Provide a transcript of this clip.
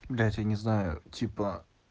блять я не знаю типа